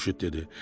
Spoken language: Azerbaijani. Xurşud dedi: